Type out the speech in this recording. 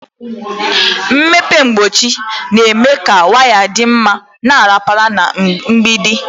Mpempe mgbachi na-eme ka waya dị mma ma rapara na mgbidi.